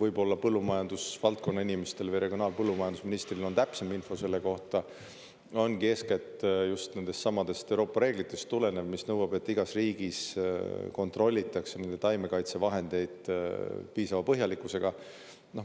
võib-olla põllumajandusvaldkonna inimestel või regionaal- ja põllumajandusministril on täpsem info selle kohta – ongi eeskätt just nendest samadest Euroopa reeglitest tulenev, mis nõuab, et igas riigis kontrollitakse nende taimekaitsevahendeid piisava põhjalikkusega.